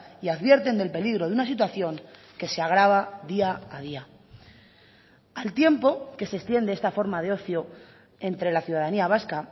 y advierten del peligro de una situación que se agrava día a día al tiempo que se extiende esta forma de ocio entre la ciudadanía vasca